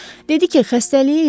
Dedi ki, xəstəliyi yoxdur.